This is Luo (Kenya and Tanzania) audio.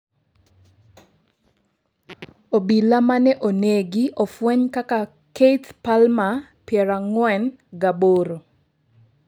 Obila mane onegi ofweny kaka Keith Palmer, piero ang'wen gi aboro.